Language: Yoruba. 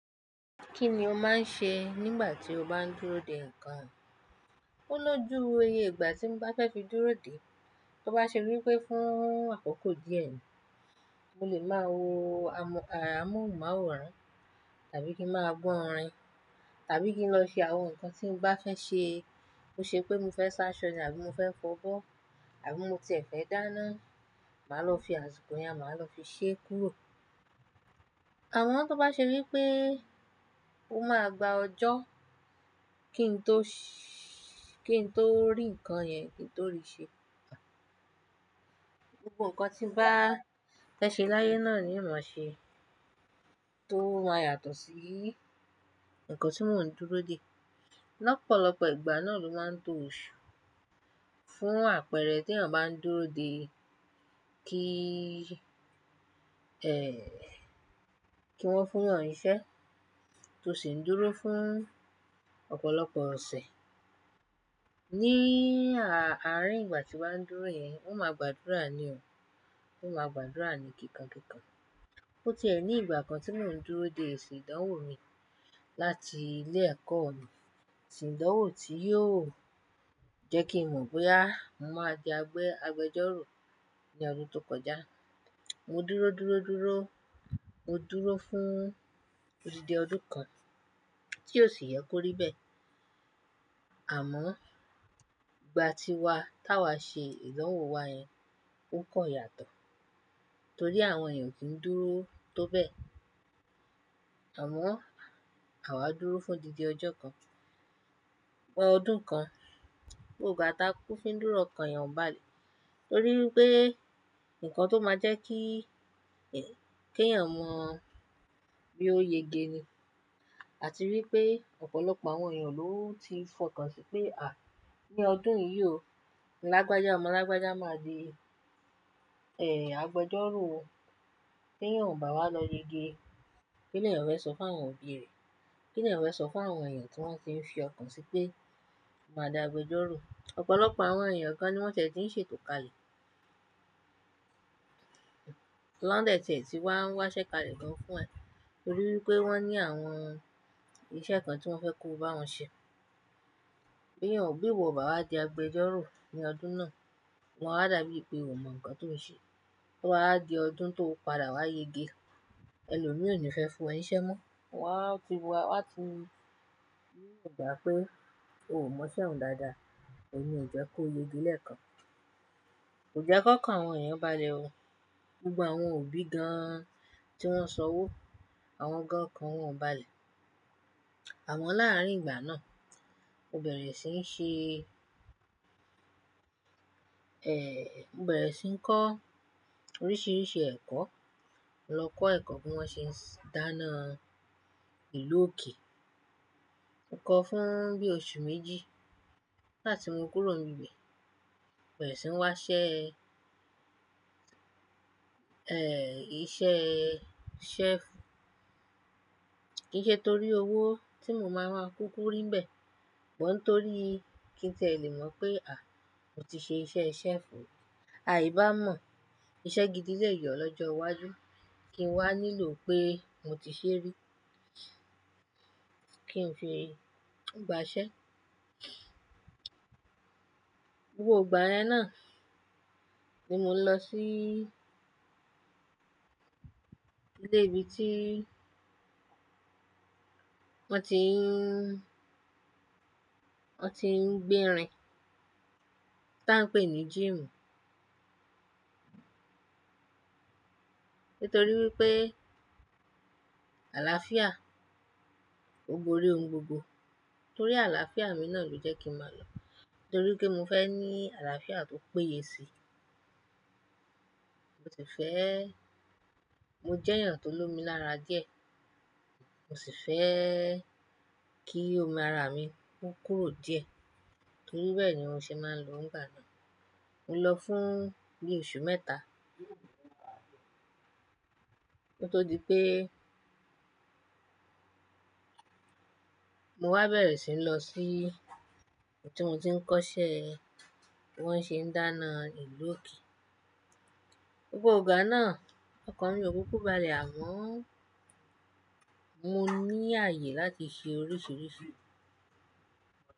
Kí ni o máa ń ṣe nígbà tí o bá ń dúró de nǹkan? Ó ló jú iwo iyè ìgbà tí mo bá fẹ́ fi dúró de. Tó bá ṣe wí pé fún àkókò díẹ̀ ni, mo lè máa wo amóhùnmáwòrán, tàbí kí máa gbọ́ orin, tàbí kí n lọ ṣe àwọn nǹkan tí mo bá fẹ́ ṣe. Bó ṣe pé mi fẹ́ ṣáṣọ ní àbí mo fẹ́ kọ ọ̀bọ, àbí mo tiẹ̀ fẹ́ dáná, màá lọ fi àsìkò yẹn, màá lọ fi ṣẹ́ kúrò. Àmọ́ tó bá ṣe wí pé ó máa gba ọjọ́ kí n tó ṣí-- kí n tó rí nǹkan yẹn, kí n tó rí i ṣe, gbogbo nǹkan tí bá fẹ́ ṣe láyé náà ni màá ṣe tó máa yàtọ̀ sí nǹkan tí mò ń dúró de. Lọ́pọ̀lọpọ̀ ìgbà náà ló máa ń dùn òṣù fún àpẹẹrẹ tí a bá ń dúró de kí, ẹ́ẹ́, kí wọ́n fún ọ nísẹ́ tó sì ń dúró fún ọ̀pọ̀lọpọ̀ ọsẹ. Ní àárín ìgbà tí wà á ń dúró yẹn, óò máa gbàdúrà ni o. Ó máa gbàdúrà ni kíkankíkan. Ó tiẹ̀ ní ìgbà kan tí mò ń dúró de esi ìdánwò mi láti ilé ẹ̀kọ́ mi, esi ìdánwò tí yóò jẹ́ kí mọ̀ bóyá, mo máa di agbẹ́jọ́rò ní ọdún tó kọjá. Mo dúró, dúró, dúró. Mo dúró fún odidi ọdún kan tí ó sì yẹ kó rí bẹ́ẹ̀. Àmọ́ ìgbà tí wa tá wa ṣe ìdánwò wa yẹn ó kan yàtọ̀ torí àwọn èèyàn ò kí ń dúró tó bẹ́ẹ̀. Àmọ́ àwa dúró fún odidi ọjọ́ kan, ọ́ ọdún kan, gbogbo ìgbà táa kúkú fín dúró ọ̀kan èèyàn ò bá lẹ. Torí wípé nǹkan tó máa jẹ́ kí, ẹ́, kí èèyàn mọ bí ó yege ni àti wípé ọ̀pọ̀lọpọ̀ àwọn èèyàn ló ti fọkàn sí pé, à, ní ọdún yìí o, lágbájá ọmọ lágbájá máa di, ẹ́ẹ́, agbẹ́jọ́rò o. Tí èèyàn ò bá wá lọ yege, kí ni èèyàn fẹ́ sọ fún àwọn òbí rẹ̀? Kí ni èèyàn fẹ́ sọ fún àwọn èèyàn tí wọ́n ti ń fi ọkàn sí pé, "Màá di agbẹ́jọ́rò"? Ọ̀pọ̀lọpọ̀ àwọn èèyàn gan ní wọ́n tí ń ṣètò kalẹ̀. Tí wọ́n dẹ́ tiẹ tí wá ń wá ṣẹ́ kalẹ̀ gan fún ẹ torí wípé wọ́n ní àwọn iṣẹ́ kan tí wọ́n fẹ́ kó bá wọn ṣe. Bí èèyàn ò bí ìwọ obá wà di agbẹ́jọ́rò ní ọdún náà, oma wà dà bíi pé ò mọ̀ nǹkan tó ń ṣe. Tí ọba wá di ọdún tó padà wá yege, ẹlòmí ò ní fẹ́ fún ẹ níṣẹ́ mọ́. Wọn á ti wá, wọ́n á ti rí ọ gbà pé o ò mọ̀ iṣẹ́ ọhun dáadáa, ò ní jẹ́ kó lege ilẹ̀ kan. Kò jẹ́ ki ọkan àwọn èèyàn bá le oo. Gbogbo àwọn òbí gan tí wọ́n san wọ́, àwọn gan ọkàn wọ́n ò bá le. Àmọ́ láàárín ìgbà náà, mo bẹ̀rẹ̀ sí ń ṣe, mo bẹ̀rẹ̀ sí ń kọ́ oríṣiríṣi ẹ̀kọ́. Mo lọ kọ́ ẹ̀kọ́ bí wọ́n ṣe ń dáná ìlú òkè. Mo kọ́ fún bí i oṣù méjì. Láti mu kúrò níbẹ̀, mo bẹ̀rẹ̀ sí ń wá ṣẹ́, ẹ́ẹ́, iṣẹ́ chef. Kì í ṣe torí owó tí mo máa máa kúkú rí bẹ́ẹ̀, món torí kí n tiẹ lè mọ̀ pé, à, mo ti ṣe iṣẹ́ chef. Àì bá mọ̀, iṣẹ́ gidi lè yọ̀ lọ́jọ́ iwájú kí n wá nílò pé mo ti ṣe rí kí n fi gbà ṣẹ́. Gbogbo ìgbà yẹn náà ni mo lọ sí ilé ibi tí wọ́n ti ń, wọ́n ti ń gbé irin tí a ń pè ní gym. Nítorí wípé àlàáfíà, ó borí ohun gbogbo. Torí àlàáfíà mi náà ló jẹ́ kí màá lọ. Torí pé mo fẹ́ ní àlàáfíà tó péye sí i. Mo sì fẹ́-- mo jẹ́ èèyàn tó lomi lára díẹ̀, mo sì fẹ́ kí omi ara mi kó kúrò díẹ̀. Torí bẹ́ẹ̀ ni mo ṣe máa ń lo nìgbà náà. Mo lọ fún bí i oṣù mẹ́ta. Kí o to dípé pé mo wá bẹ̀rẹ̀ sí ń lọ sí ibi tí mo ti ń kọ́ṣẹ́ bí wọ́n ṣe ń dáná ìlú òkè. Gbogbo ìgbà náà, ọkàn mi ò kúkú bá le àmọ́ mo ní ààyè láti ṣe oríṣiríṣi.